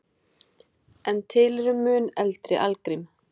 En til eru mun eldri algrím.